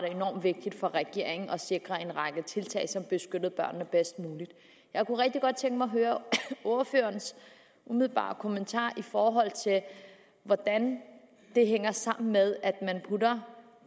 vigtigt for regeringen at sikre en række tiltag som beskyttede børnene bedst muligt jeg kunne rigtig godt tænke mig at høre ordførerens umiddelbare kommentarer i forhold til hvordan det hænger sammen med at man putter